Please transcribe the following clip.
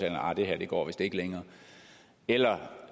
at nej det her går vist ikke længere eller